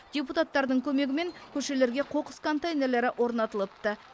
депутаттардың көмегімен көшелерге қоқыс контейнерлері орнатылыпты